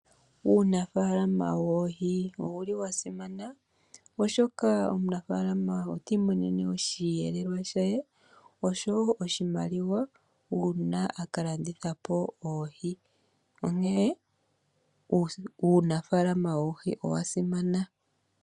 Uunafalama woohi ou li wa simana oshoka omunafaalama ota imonene mo osheelelwa shaye nosho wo oshimaliwa uuna a ka landitha po oohi, onkene uunafalama woohi owa simana.